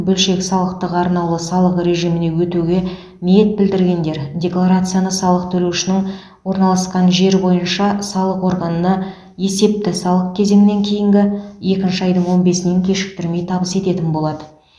бөлшек салықтың арнаулы салық режиміне өтуге ниет білдіргендер декларацияны салық төлеушінің орналасқан жері бойынша салық органына есепті салық кезеңінен кейінгі екінші айдың он бесінен кешіктірмей табыс ететін болады